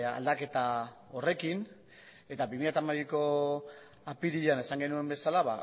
aldaketa horrekin eta bi mila hamabiko apirilean esan genuen bezala